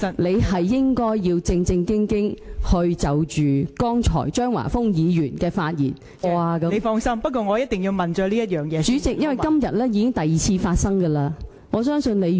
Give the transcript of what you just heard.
你應該正正經經就張華峰議員剛才的發言有否觸犯《議事規則》第414及415條，作出你獨立的裁決......